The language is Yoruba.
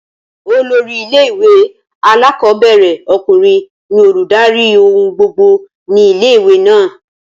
Olórí ilé ìwé alákọ̀ọ́bẹ̀rẹ̀ ọkùnrin ní olùdarí ohun gbogbo ni ilé ìwé náà